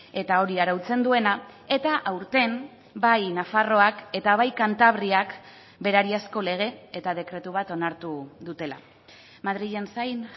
eta hori arautzen duena eta aurten bai nafarroak eta bai kantabriak berariazko lege eta dekretu bat onartu dutela madrilen zain